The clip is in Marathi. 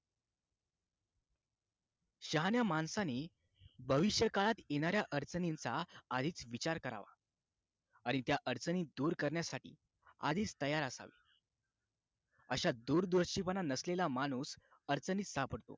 शहाण्या माणसांनी भविष्यकाळात येणाऱ्या अडचणींचा अधिक विचार करावा आणि त्या अडचणी दूर करण्यासाठी आधीच तयार असावे अशा दूरदृष्टीपणा नसलेल्या माणूस अडचणीत सापडतो